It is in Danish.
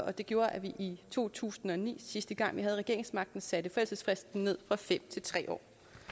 og det gjorde at vi i to tusind og ni sidste gang vi havde regeringsmagten satte forældelsesfristen ned fra fem til tre år